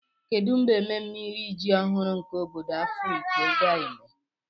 kedu mgbe ememme iri ji ọhụrụ nke obodo afikpo ga-eme?